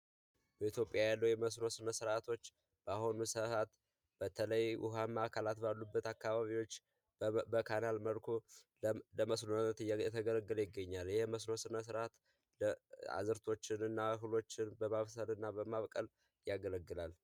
በኢትይዮጵያ ያለው የምስኖ ስነሥርዓቶች በአሁኑ ሰዓት በተለይ ውሃማ አካላት ባሉበት አካባቢዎች በካናል መልኩ ለመስኖነት እየተገለገለ ይገኛል። የመስኖ ሥነ ሥርዓት ለአዝርእቶችን እና ችግኞችን በማብሰል እና በማብቀል ያገለግላል።